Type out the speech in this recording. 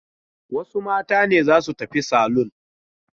Wasu mata ne za su tafi salon?